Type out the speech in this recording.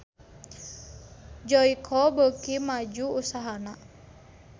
Joyko beuki maju usahana